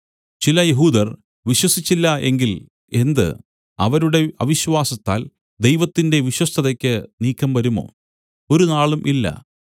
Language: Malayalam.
ചില യഹൂദർ വിശ്വസിച്ചില്ല എങ്കിൽ എന്ത് അവരുടെ അവിശ്വാസത്താൽ ദൈവത്തിന്റെ വിശ്വസ്തതയ്ക്ക് നീക്കം വരുമോ